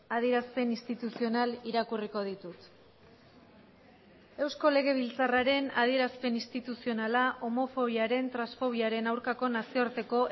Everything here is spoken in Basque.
adierazpen instituzional irakurriko ditut eusko legebiltzarraren adierazpen instituzionala homofobiaren transfobiaren aurkako nazioarteko